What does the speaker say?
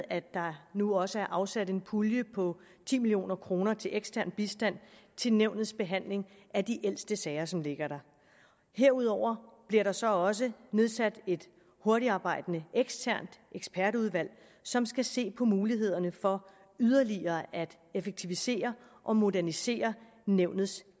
at der nu også er afsat en pulje på ti million kroner til ekstern bistand til nævnets behandling af de ældste sager som ligger der herudover bliver der så også nedsat et hurtigtarbejdende eksternt ekspertudvalg som skal se på mulighederne for yderligere at effektivisere og modernisere nævnets